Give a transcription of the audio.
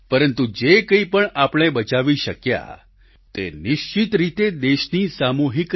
પરંતુ જે કંઈપણ આપણે બચાવી શક્યા તે નિશ્ચિત રીતે દેશની સામૂહિક